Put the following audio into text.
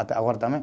Até agora também.